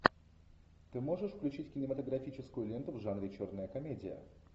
ты можешь включить кинематографическую ленту в жанре черная комедия